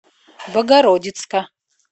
богородицка